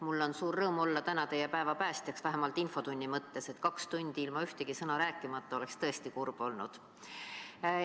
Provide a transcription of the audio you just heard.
Mul on suur rõõm olla täna teie päeva päästjaks, vähemalt infotunni mõttes – kaks tundi ilma ühtegi sõna rääkimata oleks tõesti kurb olnud.